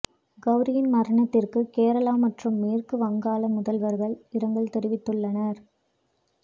கவுரியின் மரணத்திற்கு கேரளா மற்றும் மேற்கு வங்காள முதல்வர்கள் இரங்கல் தெரிவித்துள்ளனர்